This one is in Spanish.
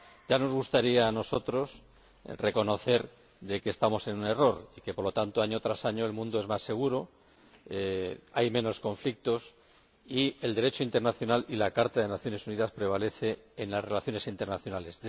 Ya nos gustaría a nosotros reconocer que estamos en un error y que, por lo tanto, año tras año, el mundo es más seguro, hay menos conflictos y el Derecho internacional y la Carta de las Naciones Unidas prevalecen en las relaciones internacionales.